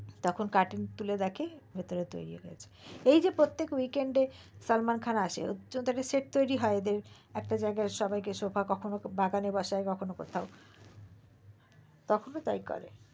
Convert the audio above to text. তখন cotton খুলে দেখে ভিতরে তৈরী হয়ে গেছে এই যে প্রত্যেক weekend এ সালমান খান আসে set তৈরী হয় এদের কখনো একটি জায়গায় সবাই কে বসায় কখনো বাগানে বসায় কখনো কোথাও কখনো তাই করে